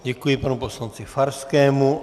Děkuji panu poslanci Farskému.